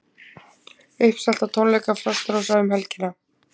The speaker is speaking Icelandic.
Uppselt á tónleiks Frostrósa um helgina